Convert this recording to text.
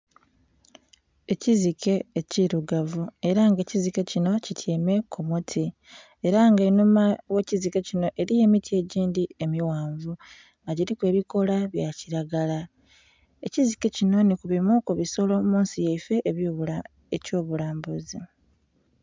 Ekizike ekirugavu era nga ekizike kino kityaime kumuti era nga enhuma gh'ekizike kino eliyo emiti egyindhi emighanvu nga gyiliku ebikoola byakilagara ekizike kino nhikubimu kubisolo munsi yaiffe ekyobulambuzi